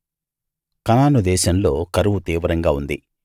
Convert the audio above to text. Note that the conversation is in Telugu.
కనాను దేశంలో కరువు తీవ్రంగా ఉంది